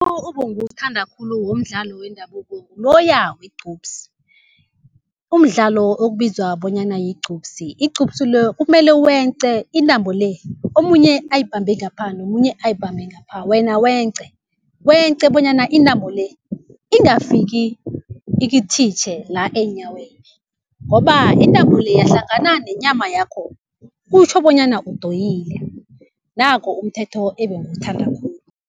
obonguwuthanda khulu umdlalo wendabuko nguloya wegqubsi. Umdlalo okubizwa bonyana yigqubsi, igcubsi lo kumele wence intambo le omunye ayibambe ngapha nomunye ayibambe ngapha wena wence. Wence bonyana intambo le ingafiki ikithitjhe la eenyaweni ngoba intambo le yahlangana nenyama yakho kutjho bonyana udoyile. Nako umthetho ebengiwuthanda khulu.